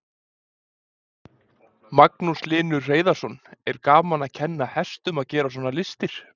Magnús Hlynur Hreiðarsson: Er gaman að kenna hestum að gera svona listir?